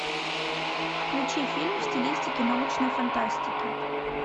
включи фильм в стилистике научной фантастики